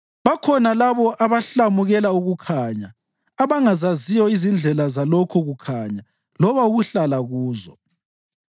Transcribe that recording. Bakhona labo abahlamukela ukukhanya, abangazaziyo izindlela zalokho kukhanya loba ukuhlala kuzo.